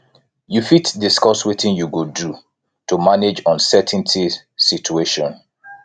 you fit discuss wetin you go do to manage uncertainty situation